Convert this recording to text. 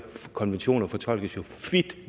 konventioner fortolkes jo